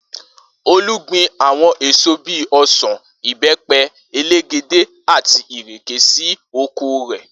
Olú gbin àwo̩n èso bí i o̩sàn, ìbé̩pe̩, elégédé àti ìrè̩ké sí oko rè̩